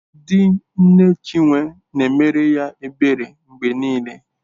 Di nne Chinwe na-emere ya ebere mgbe niile.